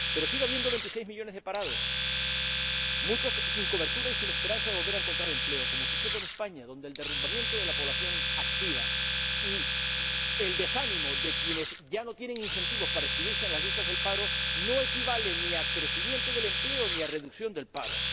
Pero sigue habiendo 26 millones de parados, muchos sin cobertura y sin esperanza de volver a encontrar empleo, como sucede en España, donde el derrumbamiento de la población activa y el desánimo de quienes ya no tienen incentivos para inscribirse en las listas del paro no equivalen ni a crecimiento del empleo ni a reducción del paro.